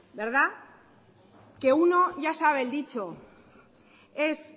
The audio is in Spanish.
que uno ya sabe el dicho es